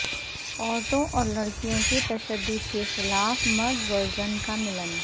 عورتوں اور لڑکیوں کے تشدد کے خلاف مرد و زن کا ملن